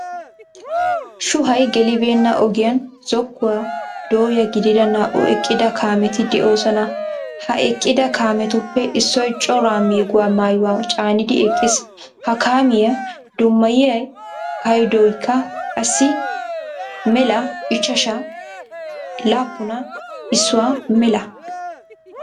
Shuuhaayi geelibenna ogiyaan zookuwaa dooya gidida naa'u eqqida kaametti de'oosona. Ha eqqida kaamettuppe issoy cora meeguwa maayuwa caaniidi eqqiis. Ha kaamiya dummayia paayidooyikka qaassi 05710.